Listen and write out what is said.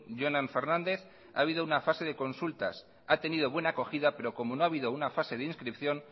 jonan fernández ha habido una fase de consultas ha tenido buena acogida pero como no ha habido una fase de inscripción